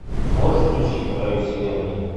можешь включить на краю вселенной